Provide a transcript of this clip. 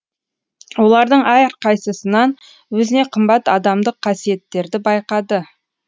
олардың әрқайсысынан өзіне қымбат адамдық қасиеттерді байқады